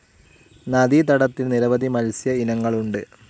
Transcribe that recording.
നദീ തടത്തിൽ നിരവധി മത്സ്യ ഇനങ്ങളുണ്ട്.